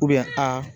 a